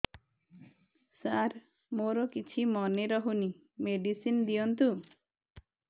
ସାର ମୋର କିଛି ମନେ ରହୁନି ମେଡିସିନ ଦିଅନ୍ତୁ